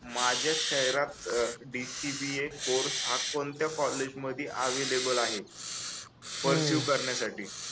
माझ्या शहरात अह DCBA कोर्स हा कोणत्या कॉलेजमध्ये अवेलेबल आहे पर्सीव करण्यासाठी